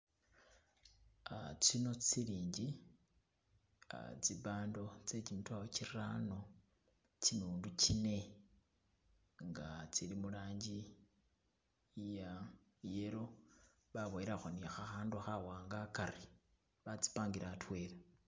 Tsino silingi tsibando tsegimitwalo girano gimilundu gine nga tsili mulangi iya yellow baboyelakho ni khakhandu khawanga hagari basimpangile hadwela.